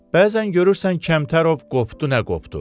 Bəzən görürsən Kəmtərov qopdu nə qopdu.